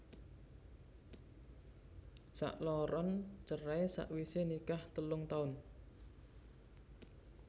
Sakloron cerai sawisé nikah telung taun